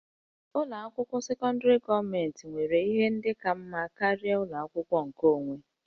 Ụlọ akwụkwọ sekọndrị gọọmentị nwere ihe ndị ka mma karịa ụlọ akwụkwọ nkeonwe